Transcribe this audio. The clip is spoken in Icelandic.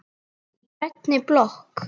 Í grænni blokk